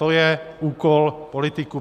To je úkol politiků.